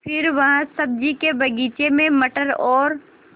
फिर वह सब्ज़ी के बगीचे में मटर और